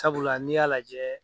Sabula n'i y'a lajɛ.